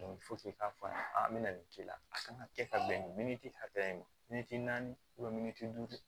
k'a fɔ a ɲɛna a bɛna nin k'i la a kan ka kɛ ka bɛn nin min hakɛ in ma min miniti duuru